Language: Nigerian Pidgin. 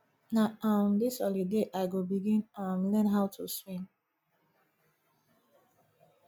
na um dis holiday i go begin um learn how to swim